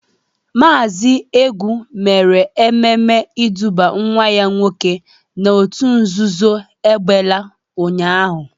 Maazi Egwu mere ememe iduba nwa ya nwoke n'otu nzuzo egbela ụnyaahụ.